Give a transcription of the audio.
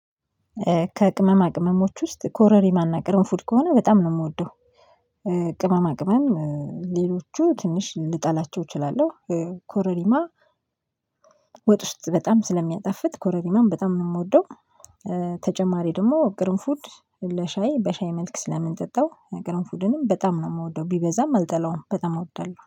ከቅመማ ቅመሞች ውስጥ ኮረሪማና ቅርንፉድ ከሆነ በጣም ነው የምወደው። ቅመማ ቅመም ሌሎቹ ትንሽ ልጠላቸው እችላለሁ። ኮረሪማ ወጥ ውስጥ በጣም ስለሚያጣፍጥ ኮረሪማን በጣም ነው የምወደው። ተጨማሪ ደግሞ ቅርንፉድ ለሻይ በሻይ መልክ ስለምንጠጣው ቀረንፉድንም በጣም ነው የምወደው ቢበዛም አልጠላውም በጣም ነው አወደዋለሁ